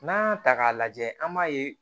N'an y'a ta k'a lajɛ an b'a ye